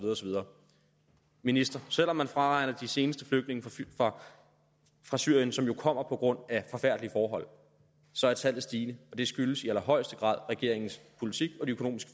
videre minister selv om man fraregner de seneste flygtninge fra syrien som jo kommer på grund af forfærdelige forhold så er tallet stigende og det skyldes i allerhøjeste grad regeringens politik og de økonomiske